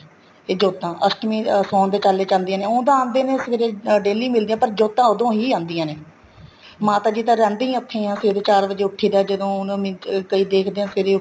ਤੇ ਜੋਤਾਂ ਅਸ਼ਟਮੀ ਚ ਸੋਹਣ ਚਾਲੇ ਚ ਆਦੀਆਂ ਨੇ ਉਹ ਤਾਂ ਆਦੇ ਨੇ ਸਵੇਰੇ daily ਮਿਲਦੇ ਹੈ ਜੋਤਾਂ ਉਦੋਂ ਹੀ ਆਦੀਆਂ ਨੇ ਮਾਤਾ ਜੀ ਤਾਂ ਰਹਿੰਦੇ ਹੀ ਉੱਥੇ ਆ ਸਵੇਰੇ ਚਾਰ ਵਜ਼ੇ ਉੱਠੀ ਦਾ ਹੈ ਜਦੋਂ ਕਈ ਦੇਖਦੇ ਹੈ ਸਵੇਰੇ